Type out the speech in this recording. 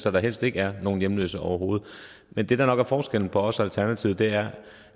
så der helst ikke er nogen hjemløse overhovedet men det der nok er forskellen på os og alternativet er